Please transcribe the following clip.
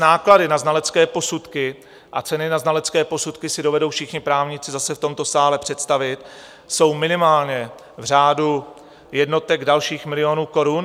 Náklady na znalecké posudky a ceny na znalecké posudky si dovedou všichni právníci zase v tomto sále představit, jsou minimálně v řádu jednotek dalších milionů korun.